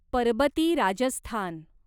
Parbati Rajasthan